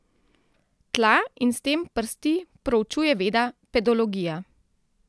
Tla in s tem prsti proučuje veda pedologija.